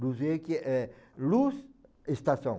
Luz é luz, estação.